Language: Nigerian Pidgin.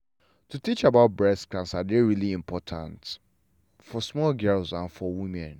to teach about breast cancer dey really important for small girls and for women.